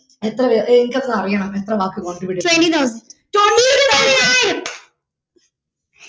എത്ര വേർ എനിക്കൊന്നു അറിയണം എത്ര വാക്ക് contribute തൊണ്ണൂറായിരം